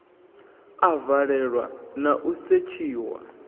a valelwa na u setshiwa